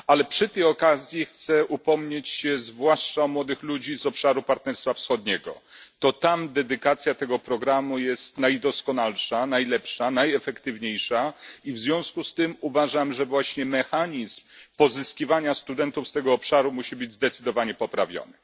Przy tej okazji chcę upomnieć się zwłaszcza o młodych ludzi z obszaru partnerstwa wschodniego. To tam przeznaczenie tego programu jest najdoskonalsze, najlepsze i najefektywniejsze i w związku z tym uważam, że mechanizm pozyskiwania studentów z tego obszaru musi zostać zdecydowanie poprawiony.